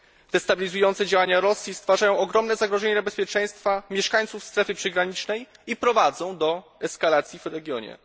Destabilizujące działania Rosji stwarzają ogromne zagrożenie dla bezpieczeństwa mieszkańców strefy przygranicznej i prowadzą do eskalacji w regionie.